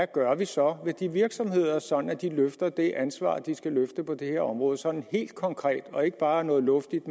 gør vi så ved de virksomheder sådan at de løfter det ansvar de skal løfte på det her område sådan helt konkret og ikke bare noget luftigt